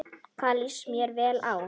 Það líst mér vel á.